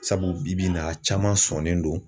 Sabu bi-bi in na a caman sɔnnen don